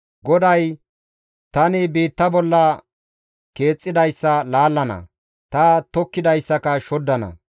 GODAY, «Tani biitta bolla keexxidayssa laallana; ta tokkidayssaka shoddana.